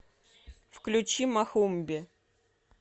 включи мохомби